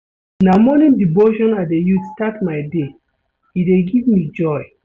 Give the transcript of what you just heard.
Na morning devotion I dey use start my day, e dey give me joy.